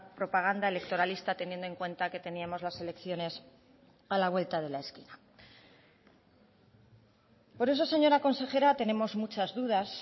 propaganda electoralista teniendo en cuenta que teníamos las elecciones a la vuelta de la esquina por eso señora consejera tenemos muchas dudas